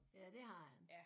Ja det har han